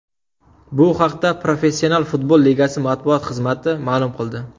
Bu haqda Professional futbol ligasi matbuot xizmati ma’lum qildi .